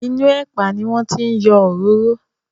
Inú ẹ̀pà ni wọ́n ti yọ òróró.